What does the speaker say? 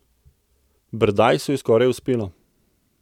Berdajsu je skoraj uspelo.